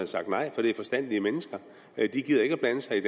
sagt nej for det er forstandige mennesker de gider ikke blande sig i